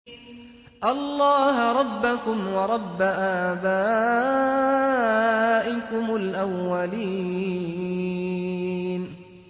اللَّهَ رَبَّكُمْ وَرَبَّ آبَائِكُمُ الْأَوَّلِينَ